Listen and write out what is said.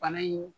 Bana in